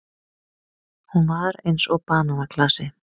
Hún var eins og bananaklasi.